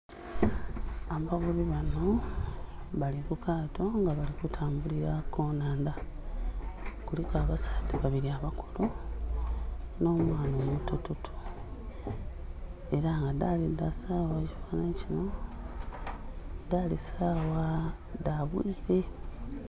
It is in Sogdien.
Abavubi banho bali ku kaato nga bali kutambulila ku nhandha, kuliku abasaadha babiri abakulu nho mwaana omuto toto era nga dhali sawa dha nkyo dhali sawa dha obwire.